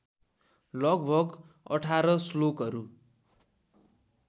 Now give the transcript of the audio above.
लगभग १८ श्लोकहरू